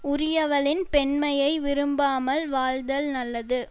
உரியவளின் பெண்மையை விரும்பாமல் வாழ்தல் நல்லது